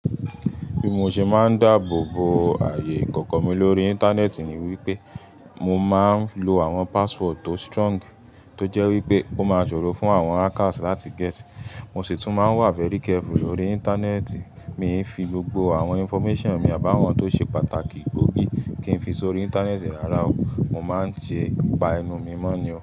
Bí mo ṣe máa ń dáàbò bo ààyè ìkọ̀kọ̀ mi lórí Íńtánẹ́ẹ̀tì ni wípé mo máa ń lo àwọn password tó strong tó jẹ́ wípé oó máa sọ̀rọ̀ fún àwọn hackers láti guess. Mo sì tún máa ń wà very careful lórí Íńtánẹ́ẹ̀tì. Mi ń fi gbogbo àwọn information mi àbàwọ́n tó ṣe pàtàkì gbó gi, kí n fi sórí Íńtánẹ́ẹ̀tì rárá o. Mo máa ń ṣẹ ba ẹnu mi mọ́ ni o.